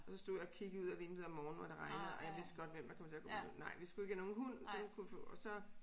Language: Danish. Og så stod jeg og kiggede ud af vinduet om morgenen hvor det regnede og jeg vidste godt hvem der kommer til at gå med den nej vi skulle ikke have nogen hund og så